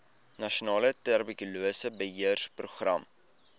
nasionale tuberkulose beheerprogram